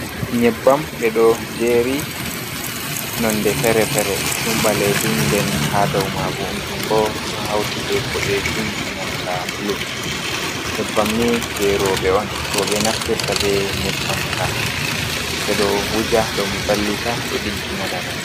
Nyebbam ɓe ɗo jeri, nonde fere-fere. Ɗonbalejum nden ha daumaibo dum ɗo hauti be poɗejum e nanta bulu. Nyebbam ni jei robe on. Roɓe naftirta be nyebbam ka. Ɓe ɗo wuja ɗo vallita ɗo diggi na laral.